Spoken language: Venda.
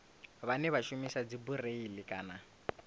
vhane vha shumisa dzibureiḽi kana